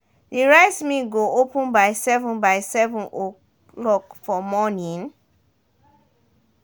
de rice mill go open by seven by seven o'clock for morning